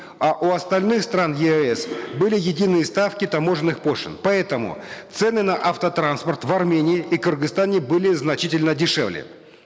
а у остальных стран еэс были единые ставки таможенных пошлин поэтому цены на автотранспорт в армении и кыргызстане были значительно дешевле